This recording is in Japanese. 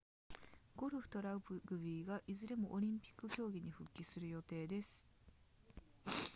ゴルフとラグビーがいずれもオリンピック競技に復帰する予定です